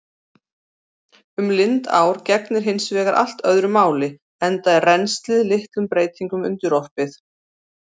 Um lindár gegnir hins vegar allt öðru máli enda er rennslið litlum breytingum undirorpið.